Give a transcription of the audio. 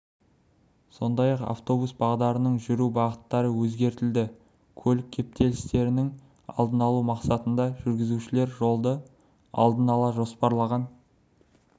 сондай-ақ автобус бағдарының жүру бағыттары өзгертілді көлік кептелістерінің алдын алу мақсатында жүргізушілер жолды алдын ала жоспарлаған